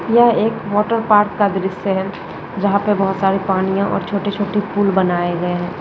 यह एक water park का दृश्य है जहाँ पे बोहोत सारे पानिया और छोटे छोटे पूल बनाये गये है।